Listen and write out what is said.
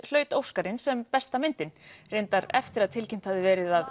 hlaut Óskarinn sem besta myndin reyndar eftir að tilkynnt hafði verið að